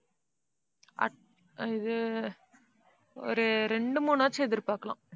இது ஒரு ரெண்டு, மூணாச்சும் எதிர்பார்க்கலாம்.